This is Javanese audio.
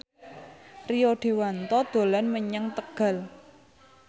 Rio Dewanto dolan menyang Tegal